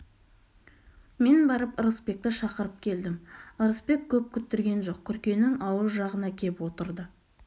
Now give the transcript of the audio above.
мен барып ырысбекті шақырып келдім ырысбек көп күттірген жоқ күркенің ауыз жағына кеп отырды